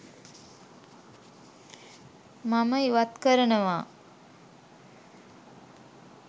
මම ඉවත් කරනවා.